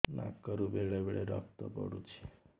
ନାକରୁ ବେଳେ ବେଳେ ରକ୍ତ ପଡୁଛି